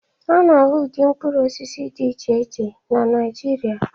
A na-ahụ ụdị mkpụrụ osisi dị iche iche na Naịjirịa